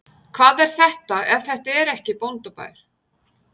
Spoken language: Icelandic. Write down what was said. Hvað er þetta ef þetta ekki er bóndabær?